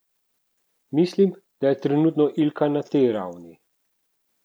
Mislim, da je trenutno Ilka na tej ravni.